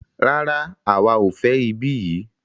Rárá, àwa o fẹ ibí yìí.